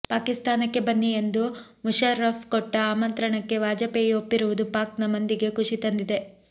ಪಾಕಿಸ್ತಾನಕ್ಕೆ ಬನ್ನಿ ಎಂದು ಮುಷರ್ರಫ್ ಕೊಟ್ಟ ಆಮಂತ್ರಣಕ್ಕೆ ವಾಜಪೇಯಿ ಒಪ್ಪಿರುವುದು ಪಾಕ್ನ ಮಂದಿಗೆ ಖುಷಿ ತಂದಿದೆ